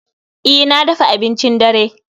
E, na dafa abincin dare